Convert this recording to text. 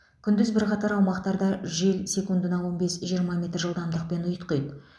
күндіз бірқатар аумақтарда жел секундына он бес жиырма метр жылдамдықпен ұйтқиды